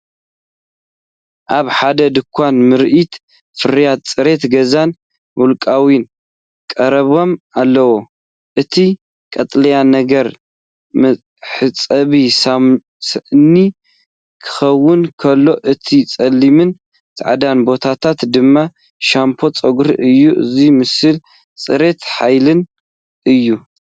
ኣብ ሓደ ድኳን ምርኢት ፍርያት ጽሬት ገዛን ውልቃውን ቀሪቦም ኣለው። እቲ ቀጠልያ ነገራት መሕጸቢ ሳእኒ ክኸውን ከሎ፡ እቲ ጸሊምን ጻዕዳን ቦታታት ድማ ሻምፖ ጸጉሪ እዩ። እዚ ምስሊ ጽሬትን ሓይልን እዩ።